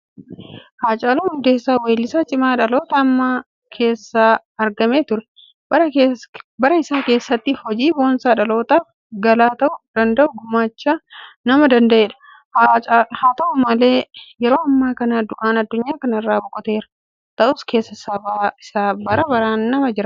Haacaaluun Hundeessaa weellisaa cimaa dhaloota ammaa keessaa argame ture. Bara isaa keessatti hojii boonsaa dhalootaaf galaa ta'uu danda'u gumaachuu nama danda'edha. Haata'u malee yeroo ammaa kana du'aan addunyaa kana irraa boqoteera. Ta'us keessa saba isaa bara baraan nama jiraatudha.